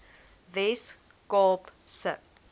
wes kaap se